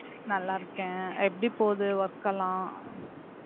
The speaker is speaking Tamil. நல்லாருக்கேன் எப்படி போகுது work எல்லாம்